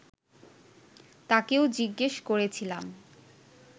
তাকেও জিজ্ঞেস করেছিলাম